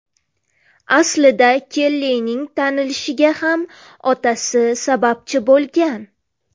Aslida Kellining tanilishiga ham otasi sababchi bo‘lgan.